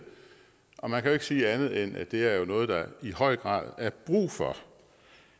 og man kan ikke sige andet end at det jo er noget der i høj grad er brug for